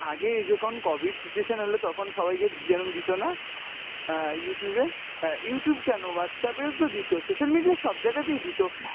আগে যখন COVID situation হলো তখন সবাইকে এরকম দিতো না, অ্যাঁ Youtube এ, অ্যাঁ Youtube কেন, Whatsapp এও দিতো, social media এর সব জায়গাতেই দিতো।